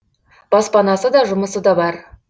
баспанасы да жұмысы да бар